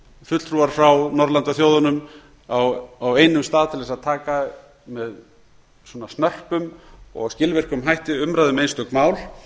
fulltrúar frá norðurlandaþjóðunum á einum stað til þess að taka með svona snörpum og skilvirkum hætti umræðu um einstök mál